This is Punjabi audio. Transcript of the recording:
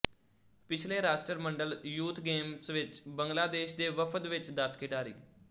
ਪਿਛਲੇ ਰਾਸ਼ਟਰਮੰਡਲ ਯੂਥ ਗੇਮਸ ਵਿੱਚ ਬੰਗਲਾਦੇਸ਼ ਦੇ ਵਫਦ ਵਿੱਚ ਦਸ ਖਿਡਾਰੀ